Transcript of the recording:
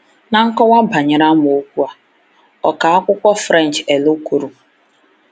Na nkọwa banyere amaokwu a, ọkà akwụkwọ French L. kwuru.